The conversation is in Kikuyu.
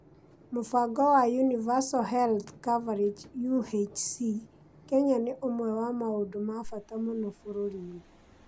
Mũbango wa Universal Health Coverage (UHC) Kenya nĩ ũmwe wa maũndũ ma bata mũno bũrũri-inĩ.